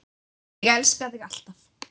Ég elska þig, alltaf.